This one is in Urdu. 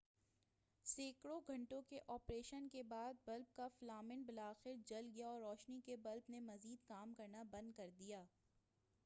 سینکڑوں گھنٹوں کے آپریشن کے بعد بلب کا فلامنٹ بلاخر جل گیا اور روشنی کے بلب نے مزید کام کرنا بند کر دیا